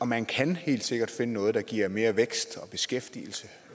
man kan helt sikkert finde noget der giver mere vækst og beskæftigelse